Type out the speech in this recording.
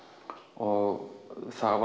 og það